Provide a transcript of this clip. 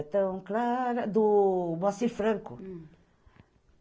É tão clara... Do Bacifranco.